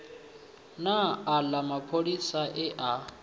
na aḽa mapholisa e a